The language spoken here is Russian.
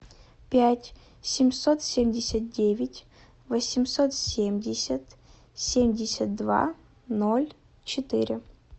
пять семьсот семьдесят девять восемьсот семьдесят семьдесят два ноль четыре